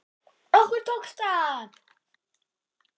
Okkur tókst það.